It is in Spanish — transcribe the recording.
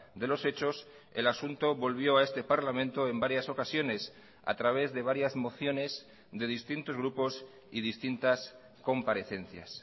de los hechos el asunto volvió a este parlamento en varias ocasiones a través de varias mociones de distintos grupos y distintas comparecencias